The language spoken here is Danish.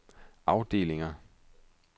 afdelinger